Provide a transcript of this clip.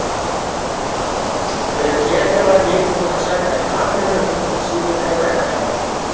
Þegar Keli var nýbúinn að sækja Kamillu hringdi síminn heima hjá henni.